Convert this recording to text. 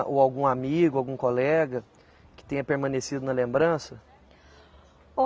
Ou algum amigo, algum colega que tenha permanecido na lembrança? (som de respiração)